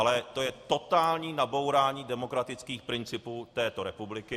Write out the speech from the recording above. Ale to je totální nabourání demokratických principů této republiky.